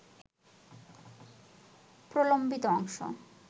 প্রলম্বিত অংশ